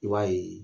I b'a ye